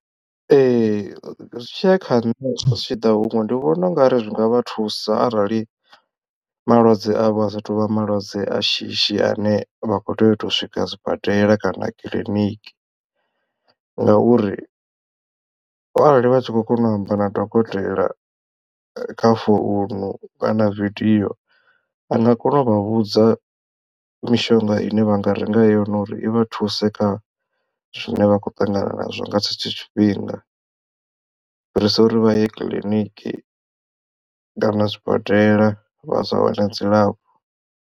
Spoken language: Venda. Ee zwi tshiya kha nṋe zwi tshi ḓa huṅwe ndi vhona ungari zwi nga vha thusa arali malwadze avha a sathu vha malwadze a shishi ane vha khou tea u to swika sibadela kana kiḽiniki ngauri arali vha tshi khou kona u amba na dokotela kha founu kana video vha nga kona u vha vhudza mishonga ine vha nga renga yone uri i vhathu thuse kha zwine vha khou ṱangana nazwo nga tshetsho tshifhinga u fhirisa uri vha ye kiḽiniki kana zwibadela vha sa wane dzilafho.